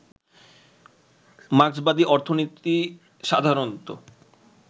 মার্ক্সবাদী অর্থনীতি সাধারণত